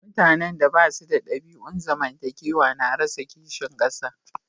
Mutane da ba su da dabi'un zamantakewa na rasa kishin kasa.